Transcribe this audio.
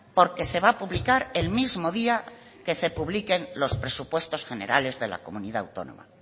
porque se va a publicar el mismo día que se publiquen los presupuestos generales de la comunidad autónoma